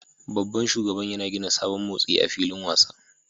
Babban shugaban yana gina sabon motsi a filin wasa